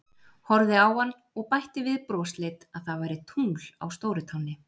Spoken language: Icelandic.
Horfði á hann og bætti við brosleit að það væri tungl á stórutánni.